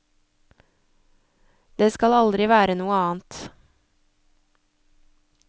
Det skal aldri være noe annet.